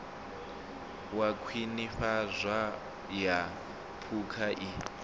wa khwinifhadzo ya phukha i